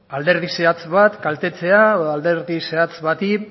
alderdi zehatz bat kaltetzea edo alderdi zehatz bati